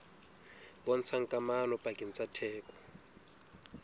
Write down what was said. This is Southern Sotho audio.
bontshang kamano pakeng tsa theko